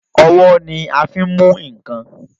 Ọwọ́ ni a fin mú nkan